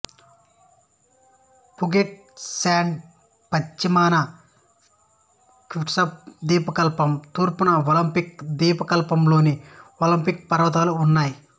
Puget Sound పశ్చిమాన Kitsap ద్వీపకల్పం తూర్పున ఒలింపిక్ ద్వీపకల్పంలోని ఒలింపిక్ పర్వతాలూ ఉన్నాయి